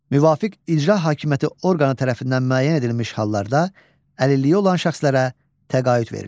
Müvafiq icra hakimiyyəti orqanı tərəfindən müəyyən edilmiş hallarda əlilliyi olan şəxslərə təqaüd verilir.